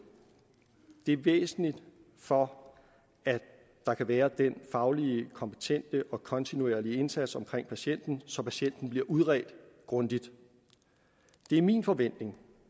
det er væsentligt for at der kan være den fagligt kompetente og kontinuerlige indsats omkring patienten så patienten bliver udredt grundigt det er min forventning